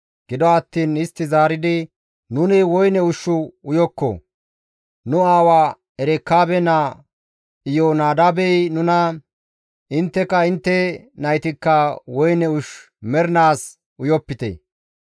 Gido attiin istti zaaridi, «Nuni woyne ushshu uyokko; nu aawa Erekaabe naa Iyoonadaabey nuna, ‹Intteka intte naytikka woyne ushshu mernaas uyopite;